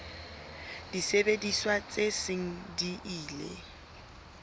disebediswa tse seng di ile